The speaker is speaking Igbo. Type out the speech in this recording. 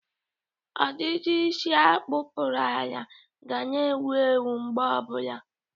Ọdịdị isi a kpụtụrụ ala ga na-ewu ewu mgbe ọbụla.